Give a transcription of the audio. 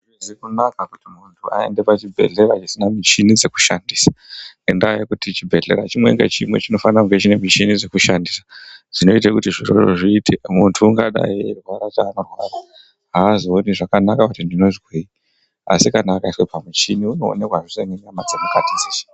Hazvizi kunaka kuti muntu aende pachibhedhlera chisina michini dzekushandisa. Ngendaa yekuti chibhehlera chimwe ngechimwe chinofanira kunge chiine michini dzekushandisa dzinoite kuti zviro izvozvo zviite. Muntu ungadai eirwara chaanorwara, haazooni zvakanaka kuti ndinozwei, asi kana akaiswe pamuchini unoonekwa zveshe nenyama dzemukati dzeshe.